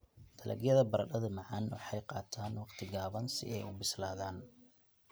Dalagyada baradhada macaan waxay qaataan waqti gaaban si ay u bislaadaan.